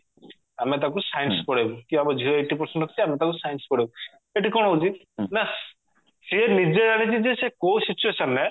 ଆମେ ତାକୁ science ପଢେଇବୁ କି ଆମ ଝିଅ eighty percent ରଖିଛି ଆମେ ତାକୁ science ପଢେଇବୁ ଏଠି କଣ ହଉଛି ନା ସିଏ ନିଜେ ଜାଣିଛି ଯେ ସେ କଉ situation ରେ